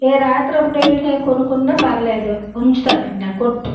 ఎ రాత్రి అప్పుడెల్లినే కొనుక్కున్న పర్లేదు ఉంచుతారు అంట కొట్టు.